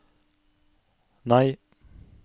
nei